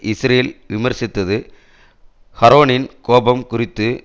Israel விமர்சித்தது ஷரோனின் கோபம் குறித்து